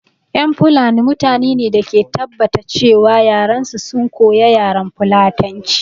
Ƴan fulani mutane ne da ke tabbata ce wa yaran su sun koya yaran fulatanci